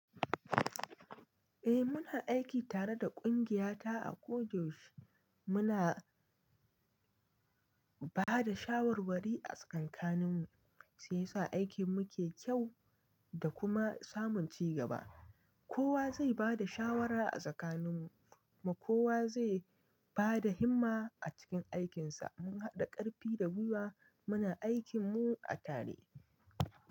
Eh muna aiki tare da kungiyata a koda yaushe Muna bada shawarwari a tsakankanin mu, sai sa aikin mu ke kyau da kuma samun cigaba. Kowa zai bada shawara a tsakaninmu, kowa zai bada himma a cikin aikinsa. Mun haɗa ƙarfi da gwiwa, muna aikin mu a tare.